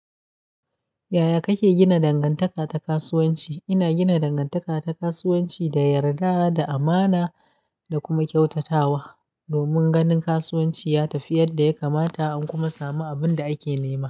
Yaya kake gina dangantaka ta kasuwanci? Ina gina dangantaka ta kasuwanci da yarda, da amana da kuma kyautatawa, domin ganin kasuwanci ya tafi yadda ya kamata, an kuma samu abin da ake nema.